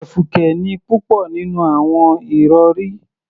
Fùkẹ̀fùkẹ̀ ni púpọ̀ nínú àwọn ìrọ̀rí